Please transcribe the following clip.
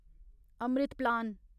Amrit plan